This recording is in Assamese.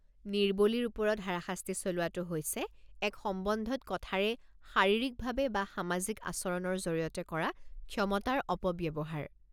নিৰ্বলীৰ ওপৰত হাৰাশাস্তি চলোৱাটো হৈছে এক সম্বন্ধত কথাৰে, শাৰীৰিকভাৱে বা সামাজিক আচৰণৰ জৰিয়তে কৰা ক্ষমতাৰ অপব্যৱহাৰ।